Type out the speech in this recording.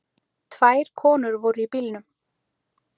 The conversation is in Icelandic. Tvær konur voru í bílnum.